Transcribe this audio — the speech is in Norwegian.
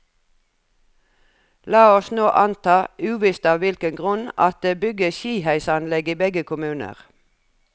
La oss nå anta, uvisst av hvilken grunn, at det bygges skiheisanlegg i begge kommuner.